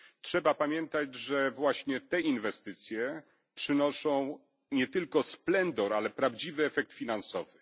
Trzeba pamiętać, że właśnie te inwestycje przynoszą nie tylko splendor, ale prawdziwy efekt finansowy.